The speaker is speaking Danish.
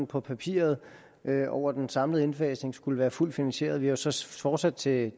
på papiret over den samlede indfasning skulle være fuldt finansieret vi har så så fortsat til